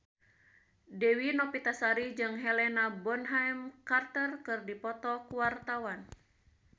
Dewi Novitasari jeung Helena Bonham Carter keur dipoto ku wartawan